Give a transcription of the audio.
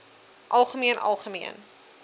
algemeen algemeen